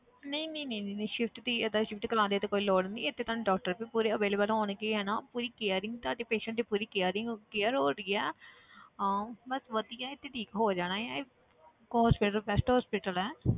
ਨਹੀਂ ਨਹੀਂ ਨਹੀਂ ਨਹੀਂ shift ਦੀ ਏਦਾਂ shift ਕਰਵਾਉਣ ਦੀ ਤਾਂ ਕੋਈ ਲੋੜ ਨੀ ਇੱਥੇ ਤੁਹਾਨੂੰ doctor ਵੀ ਪੂਰੇ available ਹੋਣਗੇ ਹਨਾ ਪੂਰੀ caring ਤੁਹਾਡੇ patient ਦੀ ਪੂਰੀ caring care ਹੋ ਰਹੀ ਆ ਹਾਂ ਬਸ ਵਧੀਆ ਹੈ ਤੇ ਠੀਕ ਹੋ ਜਾਣਾ ਹੈ ਇਹ hospital best hospital ਹੈ